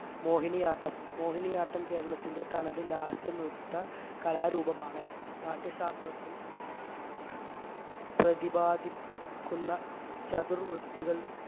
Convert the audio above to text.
മോഹിനിയാട്ടം മോഹിനിയാട്ടം കേരളത്തിന്റെ തനത് ലാസ്യനൃത്തകലാരൂപമാണ് നാട്യശാസ്ത്രത്തിൽ പ്രതിപാദിക്കുന്ന ചതുർവൃത്തികൾ